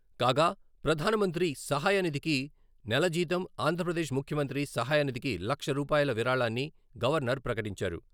కాగా ప్రధాన మంత్రి సహాయ నిధికి నెలజీతం, ఆంధ్రప్రదేశ్ ముఖ్యమంత్రి సహాయ నిధికి లక్ష రూపాయిల విరాళాన్ని గవర్నర్ ప్రకటించారు.